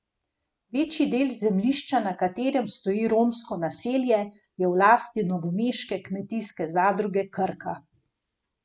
Prijetno srečanje z njo se razvije v še bolj prijetno spogledovanje s Sonjo.